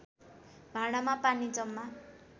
भाँडामा पानी जम्मा